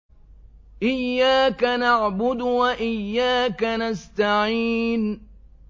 إِيَّاكَ نَعْبُدُ وَإِيَّاكَ نَسْتَعِينُ